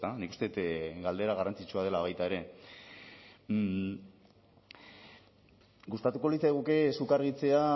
nik uste dut galdera garrantzitsua dela baita ere gustatuko litzaiguke zuk argitzea